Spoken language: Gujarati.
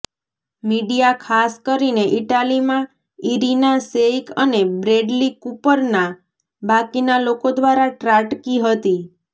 મીડિયા ખાસ કરીને ઇટાલીમાં ઇરિના શેઇક અને બ્રેડલી કૂપરના બાકીના લોકો દ્વારા ત્રાટકી હતી